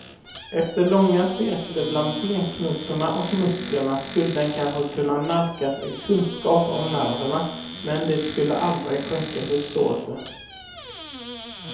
Efter långa sekler bland benknotorna och musklerna skulle den kanske kunna nalkas en kunskap om nerverna, men det skulle aldrig skänka förståelse.